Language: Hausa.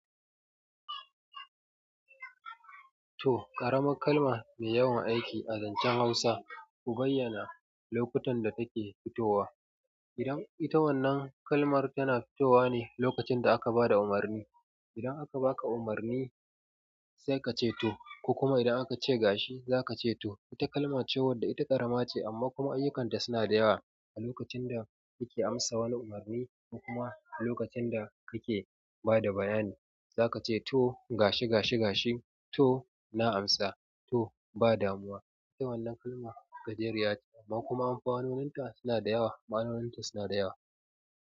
To, ƙaramar kalma mai yawan aiki a zancen Hausa, ku bayyana lokutan da take fitowa. Idan ita wannan kalmar tana fitowa ne lokacin da aka ba da umarni. Idan aka baka umarni sai ka ce to, ku kuma idan aka ce gashi, za ka ce to. Wata kalma ce wadda ita ƙarama ce amma kuma ayyukanta suna da yawa. A lokacin da muke amsa wani umarni, ko kuma a lokacin da muke bada bayani zakace to. Gashi, gashi, gashi, to, na amsa. To, ba damuwa. Ita wannan kalma gajeriya ce amma kuma amfanonin ta suna da yawa, ma'anoninta suna da yawa.